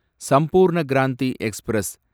Sampoorna Kranti express